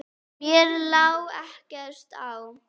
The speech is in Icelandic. Mér lá ekkert á.